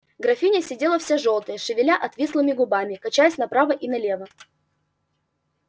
графиня сидела вся жёлтая шевеля отвислыми губами качаясь направо и налево